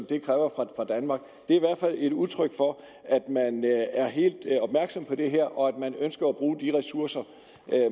det kræver fra danmark det er i hvert fald et udtryk for at man er helt opmærksom på det her og at man ønsker at bruge de ressourcer